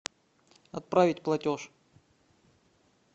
отправить платеж